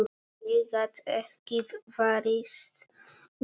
Ég gat ekki varist brosi.